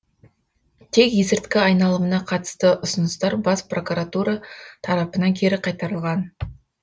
тек есірткі айналымына қатысты ұсыныстар бас прокуратура тарапынан кері қайтарылған